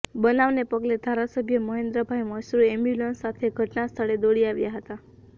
બનાવને પગલે ધારાસભ્ય મહેન્દ્રભાઇ મશરૂ એમ્બ્યુલન્સ સાથે ઘટના સ્થળે દોડી આવ્યા હતા